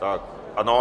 Tak ano.